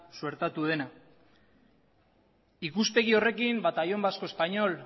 suertatu dena ikuspegi horrekin batallón vasco español